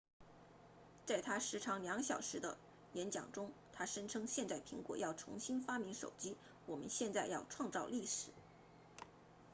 在他时长2小时的演讲中他声称现在苹果要重新发明手机我们现在要创造历史